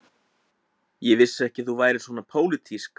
Ég vissi ekki að þú værir svona pólitísk, segi ég.